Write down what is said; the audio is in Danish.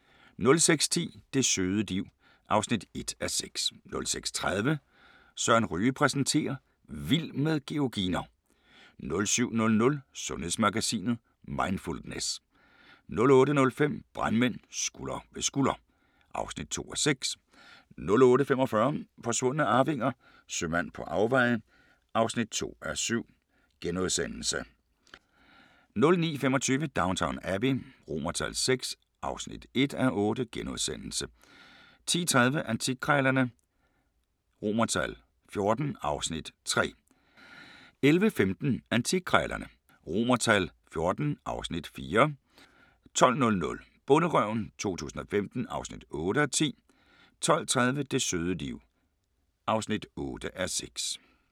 06:10: Det søde liv (1:6) 06:30: Søren Ryge præsenterer: Vild med georginer 07:00: Sundhedsmagasinet: Mindfulness 08:15: Brandmænd – Skulder ved skulder (2:6) 08:45: Forsvundne arvinger: Sømand på afveje (2:7)* 09:25: Downton Abbey VI (1:8)* 10:30: Antikkrejlerne XIV (Afs. 3) 11:15: Antikkrejlerne XIV (Afs. 4) 12:00: Bonderøven 2015 (8:10) 12:30: Det søde liv (8:6)